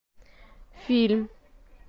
фильм